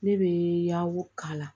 Ne bɛ yaw k'a la